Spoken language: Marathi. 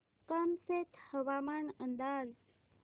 कामशेत हवामान अंदाज